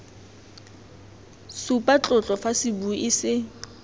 supa tlotlo fa sebui se